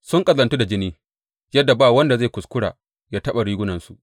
Sun ƙazantu da jini yadda ba wanda zai kuskura ya taɓa rigunansu.